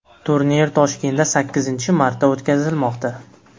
Turnir Toshkentda sakkizinchi marta o‘tkazilmoqda.